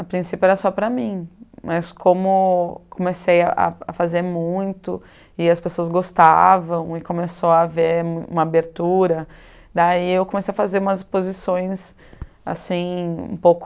A princípio era só para mim, mas como comecei a a fazer muito e as pessoas gostavam e começou a haver uma abertura, daí eu comecei a fazer umas exposições um pouco